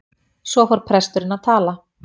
Svo fór presturinn að tala.